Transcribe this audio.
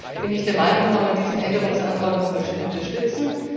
Deshalb bin ich der Meinung kann man diesen Änderungsantrag nochmals unterstützen.